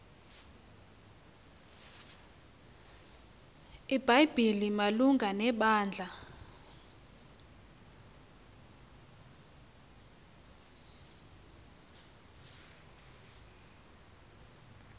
ibhayibhile malunga nebandla